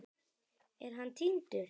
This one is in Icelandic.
Er hann týndur?